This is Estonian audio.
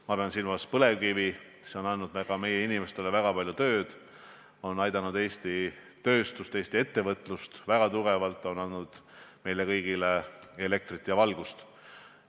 Ma pean silmas põlevkivi, mis on andnud meie inimestele väga palju tööd, aidanud väga tugevalt Eesti tööstust ja Eesti ettevõtlust, andnud meile kõigile elektrit ja valgust.